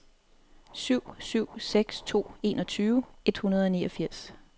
syv syv seks to enogtyve et hundrede og niogfirs